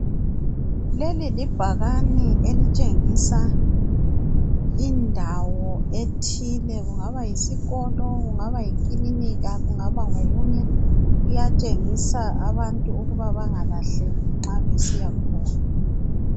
Leli libhakane elitshengisa indawo ethile kungaba yisikolo, kungaba yikilinika kungaba ngokunye iyatshengisa abantu ukuba bangalahleki nxa besiya khona.